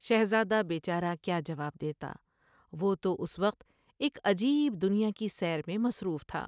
شہزادہ بے چارہ کیا جواب دیتا وہ تو اس وقت ایک عجیب دنیا کی سیر میں مصروف تھا ۔